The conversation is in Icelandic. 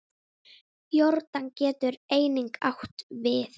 Jórdan getur einnig átt við